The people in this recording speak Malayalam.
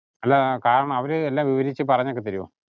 അല്ല, കാരണം അവര് എല്ലാം വിവരിച്ചു പറഞ്ഞൊക്കെ തരുവോ?